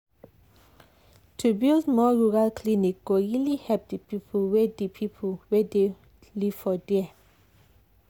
to build more rural clinic go really help the people wey the people wey dey live for there.